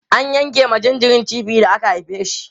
an yanke ma jinjiri cibi da aka haife shi